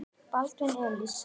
Baldvin Elís Arason.